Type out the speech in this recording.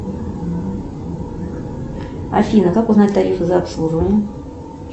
афина как узнать тарифы за обслуживание